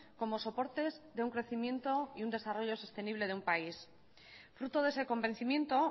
como soportes de un crecimiento y un desarrollo sostenible de un país fruto de ese convencimiento